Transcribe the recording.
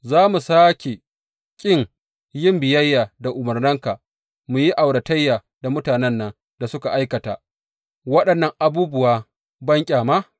Za mu sāke ƙin yin biyayya da umarninka mu yi auratayya da mutanen nan da suke aikata waɗannan abubuwan banƙyama?